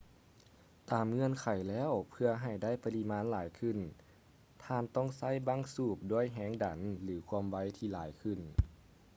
ຕາມເງື່ອນໄຂແລ້ວ ເພື່ອໃຫ້ໄດ້ປະລິມານຫຼາຍຂຶ້ນ ທ່ານຕ້ອງໃຊ້ບັ້ງສູບດ້ວຍແຮງດັນ ຫຼື ຄວາມໄວທີ່ຫຼາຍຂຶ້ນ